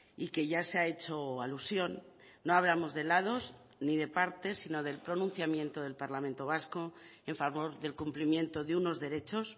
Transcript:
y que ya se ha hecho alusión no hablamos de lados ni de partes sino del pronunciamiento del parlamento vasco en favor del cumplimiento de unos derechos